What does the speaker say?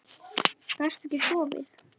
Gastu ekki sofið?